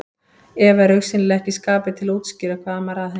Eva er augsýnilega ekki í skapi til að útskýra hvað amar að henni.